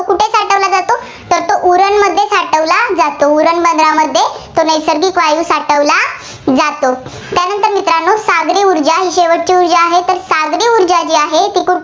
उरण बंदरामध्ये नैसर्गिक वायू साठवला जातो. त्यानंतर मित्रांनो सागरी ऊर्जा शेवटची ऊर्जा आहे. तर सागरी ऊर्जाजी आहे, ती कुठे